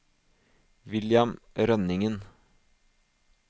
William Rønningen